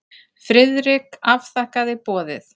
Friðrik afþakkaði boðið.